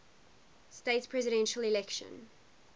states presidential election